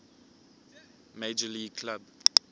major league club